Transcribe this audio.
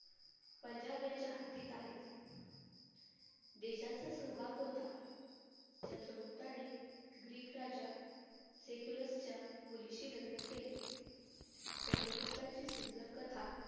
पंजाब यांच्या हद्दीत आहेत. देशांचा सहभाग होता. चंद्रगुप्ताने greek राजा मुलीशी लग्न केले. चंद्रगुप्ताची सुंदर कथा